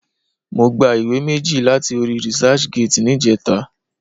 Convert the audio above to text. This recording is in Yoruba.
Mo gba ìwé méjì láti orí researchgate níjẹta.